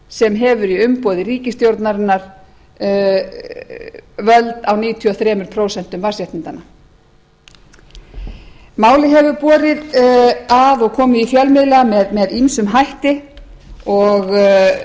sem hefur í umboði ríkisstjórnarinnar völd á níutíu og þrjú prósent vatnsréttindanna málið hefur borið að og komið í fjölmiðla með ýmsum hætti og